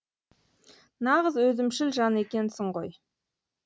нағыз өзімшіл жан екенсің ғой